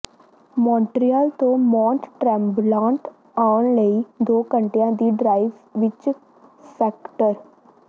Montreal ਤੋਂ Mont Tremblant ਆਉਣ ਲਈ ਦੋ ਘੰਟਿਆਂ ਦੀ ਡ੍ਰਾਈਵ ਵਿਚ ਫੈਕਟਰ